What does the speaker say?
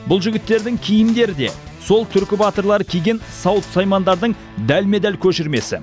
бұл жігіттердің киімдері де сол түркі батырлары киген сауыт саймандардың дәлме дәл көшірмесі